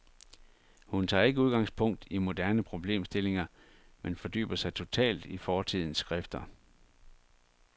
Hun tager ikke udgangspunkt i moderne problemstillinger, men fordyber sig totalt i fortidens skrifter.